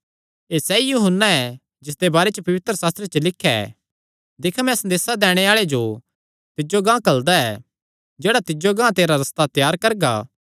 एह़ सैई यूहन्ना ऐ जिसदे बारे च पवित्रशास्त्रे च लिख्या ऐ दिक्ख मैं संदेसा दैणे आल़े जो तिज्जो गांह घल्लदा ऐ जेह्ड़ा तिज्जो गांह तेरा रस्ता त्यार करगा